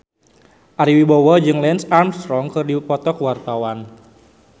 Ari Wibowo jeung Lance Armstrong keur dipoto ku wartawan